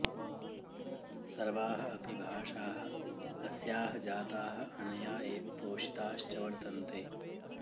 सर्वाः अपि भाषाः अस्याः जाताः अनया एव पोषिताश्च वर्तन्ते